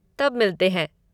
तब मिलते हैं।